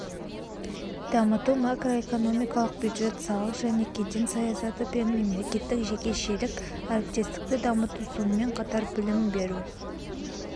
дамыту макроэкономикалық бюджет салық және кеден саясаты пен мемлекеттік-жекешелік әріптестікті дамыту сонымен қатар білім беру